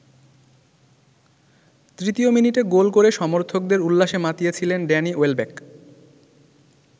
তৃতীয মিনিটে গোল করে সমর্থকদের উল্লাসে মাতিয়েছিলেন ড্যানি ওয়েলব্যাক।